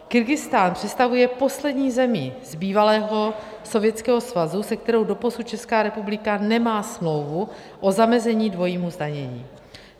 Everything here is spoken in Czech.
Kyrgyzstán představuje poslední zemi z bývalého Sovětského svazu, se kterou doposud Česká republika nemá smlouvu o zamezení dvojímu zdanění.